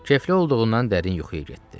Kefli olduğundan dərin yuxuya getdi.